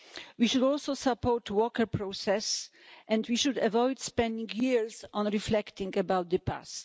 We should also support the Walker process and we should avoid spending years on reflecting about the past.